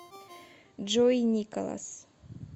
джой николас